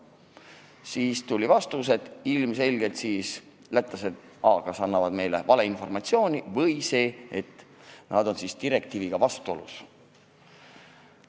Siis saime vastuse, et ilmselgelt lätlased kas annavad meile valeinformatsiooni või siis on nende regulatsioon eurodirektiiviga vastuolus.